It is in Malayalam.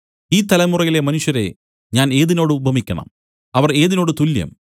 ഈ തലമുറയിലെ മനുഷ്യരെ ഞാൻ ഏതിനോട് ഉപമിക്കണം അവർ ഏതിനോട് തുല്യം